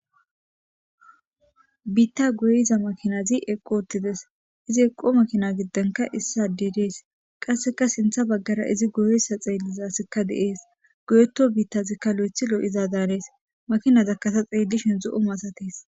Biitta goyiza makinazi eqqo ottides izi eqqo makina giddenka issa dedees qasseka sintha baggara izi goyessa xeellizaasikka deees goyeto biittazikka lo7ethilo7iza daanees makinadakkasa xeellishin zo7o maasates